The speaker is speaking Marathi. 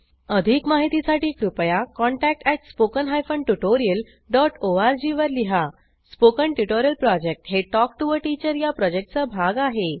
अधिक माहितीसाठी कृपया contact at spoken hyphen tutorial dot ORG वर लिहा स्पोकन ट्युटोरियल प्रॉजेक्ट हे टॉक टू टीचर या प्रॉजेक्टचा भाग आहे